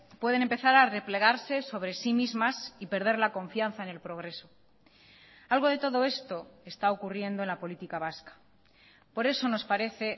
pueden empezar a replegarse sobre sí mismas y perder la confianza en el progreso algo de todo esto está ocurriendo en la política vasca por eso nos parece